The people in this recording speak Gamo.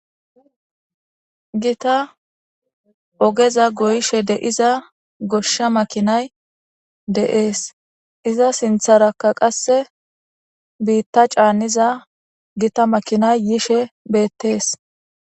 Gita ogeza goyshe de7iza goshsha makinay de7ees iza sintharakka qasse biitta caanniza gita makinay yishe beettees.